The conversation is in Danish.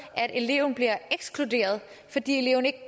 at eleven bliver ekskluderet fordi eleven ikke